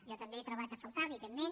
jo també he trobat a faltar evidentment